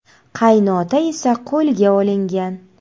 Qaynota esa qo‘lga olingan.